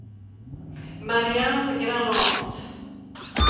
Marianne Granath